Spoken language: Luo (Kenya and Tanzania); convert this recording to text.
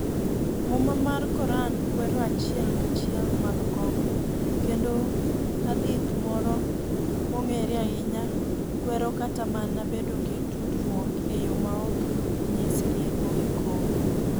Muma mar Koran kwero achiel kachiel madho kong'o, kendo hadith moro mong'ere ahinya kwero kata mana bedo gi tudruok e yo maok nyis rieko gi kong'o